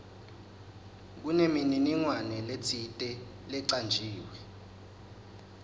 kunemininingwane letsite lecanjiwe